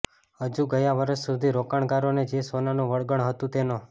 હજુ ગયા વર્ષ સુધી રોકાણકારોને જે સોનાનું વળગણ હતું તેનો